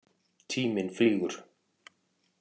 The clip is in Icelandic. Tíminn flýgur.